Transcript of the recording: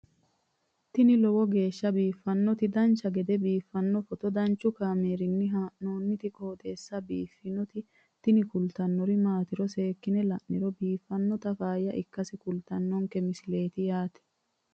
tini lowo geeshsha biiffannoti dancha gede biiffanno footo danchu kaameerinni haa'noonniti qooxeessa biiffannoti tini kultannori maatiro seekkine la'niro biiffannota faayya ikkase kultannoke misileeti yaate